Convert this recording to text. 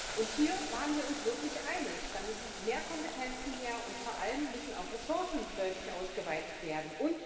Und hier waren wir uns wirklich einig Da müssen mehr Kompetenzen her, und vor allem müssen auch Ressourcen deutlich ausgeweitet werden.